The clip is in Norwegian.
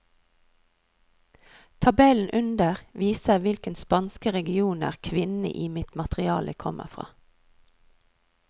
Tabellen under viser hvilke spanske regioner kvinnene i mitt materiale kommer fra.